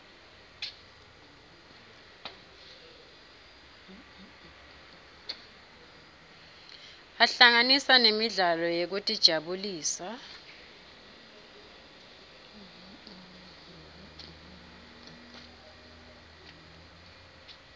ahlanganisa nemidlalo yekutijabulisa